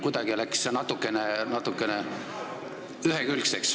Kuidagi läks see jutt natukene ühekülgseks.